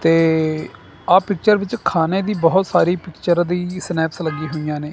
ਤੇ ਆ ਪਿਚਰ ਵਿੱਚ ਖਾਨੇ ਦੀ ਬਹੁਤ ਸਾਰੀ ਪਿਚਰ ਦੀ ਸਨੈਪਸ ਲੱਗੀ ਹੋਈਆਂ ਨੇ।